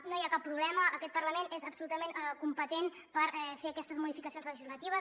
no hi ha cap problema aquest parlament és absolutament competent per fer aquestes modificacions legislatives